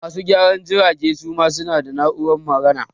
Masu gyaran jirage ma su na da na'urar magana